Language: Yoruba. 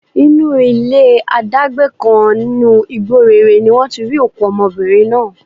Inú ilé adágbé kan nínú igbó réré ni wọ́n ti rí òkú ọmọbìnrin náà